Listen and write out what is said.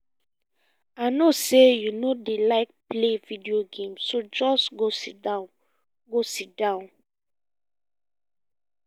i no say you no dey like play game so just go sit down go sit down